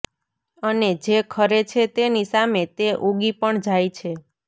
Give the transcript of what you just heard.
અને જે ખરે છે તેની સામે તે ઉગી પણ જાય છે